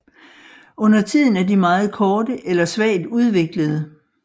Undertiden er de meget korte eller svagt udviklede